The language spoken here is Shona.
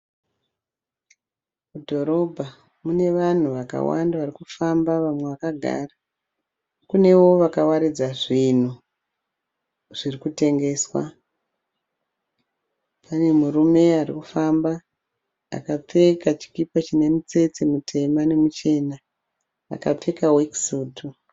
Mudhorobha mune vanhu varikufamba vamwe vakagara. kunewo vakawaridza zvinhu zvirikutengeswa. Pane murume ari kufamba akapfeka chikipa chine mitsetse mitema nemichena akapfeka work suit.